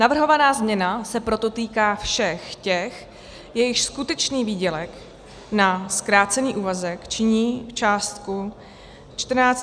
Navrhovaná změna se proto týká všech těch, jejichž skutečný výdělek na zkrácený úvazek činí částku 14 600 a nižší.